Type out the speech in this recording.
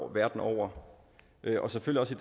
verden over og selvfølgelig